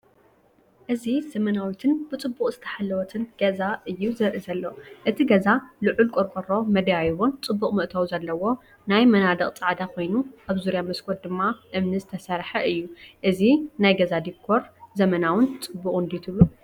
እዚ ዘመናዊትን ብጽቡቕ ዝተሓለወትን ገዛ እዩ ዘርኢ ዘሎ። እቲ ገዛ ልዑል ቆርቆሮን መደያይቦን ጽቡቕ መእተዊን ኣለዎ። እቲ መናድቕ ጻዕዳ ኮይኑ ኣብ ዙርያ መስኮት ድማ እምኒ ዝተሰርሐ እዩ። እዚ ናይ ገዛ ዲኮር ዘመናውን ፅቡቅን ድዩ ትብሉ?